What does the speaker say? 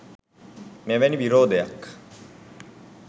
මෙවැනි විරෝධයක්